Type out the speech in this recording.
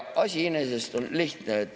Asi iseenesest on lihtne.